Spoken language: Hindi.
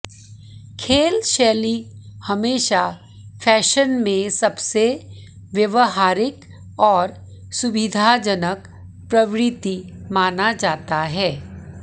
खेल शैली हमेशा फैशन में सबसे व्यावहारिक और सुविधाजनक प्रवृत्ति माना जाता है